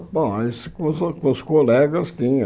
Bom, isso com os o com os colegas tinha.